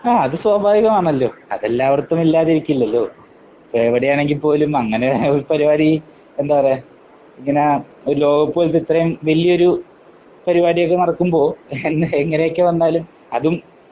ആ അത് സ്വാഭാവികമാണല്ലോ. അതെല്ലാടത്തും ഇല്ലാതിരിക്കില്ലല്ലോ. എവിടെയാണെങ്കിൽ പോലും അങ്ങനെ പരിപാടി എന്താ പറയാ ഇങ്ങനെ ലോകകപ്പ് പോലോത്ത ഇത്രയും വലിയൊരു പരിപാടിയൊക്കെ നടക്കുമ്പോൾ എങ്ങനെയൊക്കെ വന്നാലും അതും